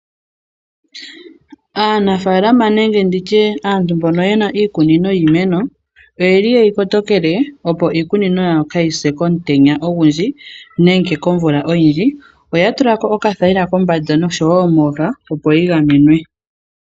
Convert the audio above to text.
Aanafaalama nenge nditye aantu mbono yena iikunino yiimeno oyeli yeyi kotokele opo iikunino yawo kaayi se komutenya ogundji nenge komvula oyindji oya tulako okathayila kombanda noshowo mooha opo yi gamenwe.